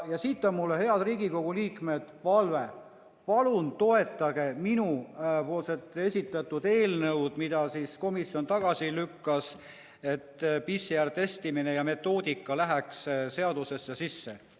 Ja siit on mul, head Riigikogu liikmed, palve: palun toetage minu esitatud muudatusettepanekut, mille komisjon tagasi lükkas, et PCR-testide tegemise metoodika läheks seadusesse sisse!